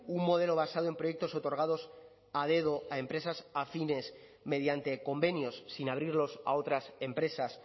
un modelo basado en proyectos otorgados a dedo a empresas afines mediante convenios sin abrirlos a otras empresas